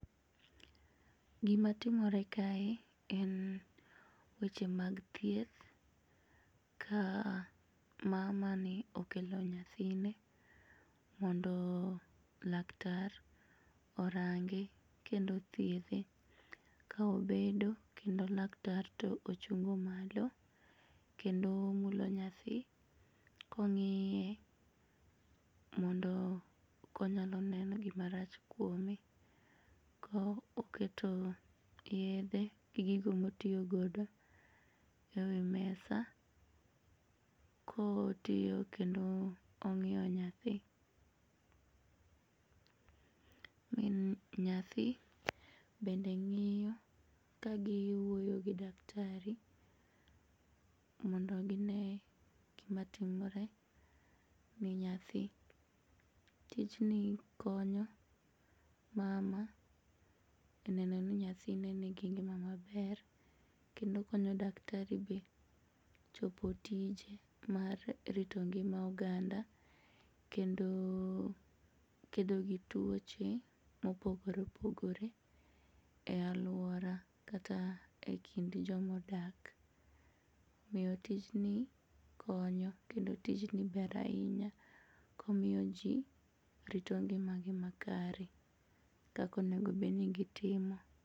Gimatimore kae en weche mag thieth ka mamani okelo nyathine mondo laktar orange kendo othiedhe kaobedo kendo laktar to ochung' malo kendo omulo nyathi kong'iye mondo konyaloneno gima rach kuome ka oketo yedhe gi gigo motiyo godo e wii mesa kotiyo kendo ong'iyo nyathi. Min nyathi bende ng'iyo kagiwuoyo gi daktari mondo ginee gima timore ne nyathi. Tijni konyo mama e nenoni nyathine nigi ngima maber kendo konyo daktari be chopo tije mar rito ngima oganda kendo kedogi tuoche mopogore opogore e aluora kata e kind jomodak. Omiyo tijni konyo kendo tijni ber ainya komiyo jii rito ngimagi makare kakonego bedni gitimo.